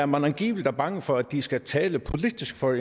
man angiveligt er bange for at de skal tale politisk for